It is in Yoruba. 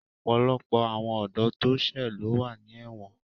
Ọ̀pọ̀lọpọ̀ àwọn ọ̀dọ́ tó ṣẹ́ ló wà ní ẹ̀wọ̀n